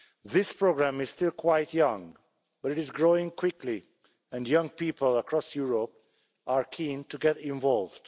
This programme is still quite young but it is growing quickly and young people across Europe are keen to get involved.